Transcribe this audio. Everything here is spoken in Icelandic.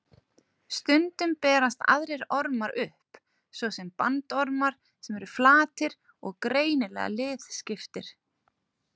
Stundum berast aðrir ormar upp, svo sem bandormar sem eru flatir og greinilega liðskiptir.